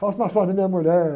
Faço massagem na minha mulher.